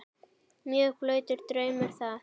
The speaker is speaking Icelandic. Mjög blautur draumur það.